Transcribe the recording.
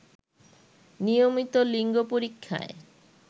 নিয়মিত লিঙ্গ পরীক্ষায়